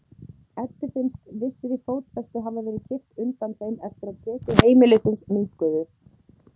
Eddu finnst vissri fótfestu hafa verið kippt undan þeim eftir að tekjur heimilisins minnkuðu.